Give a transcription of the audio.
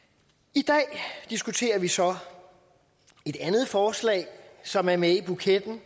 i dag diskuterer vi så et andet forslag som er med i buketten